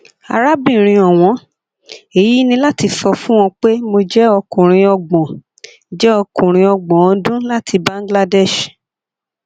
arábìnrin ọwọn èyí ni láti sọ fún ọ pé mo jẹ ọkùnrin ọgbọn jẹ ọkùnrin ọgbọn ọdún láti bangladesh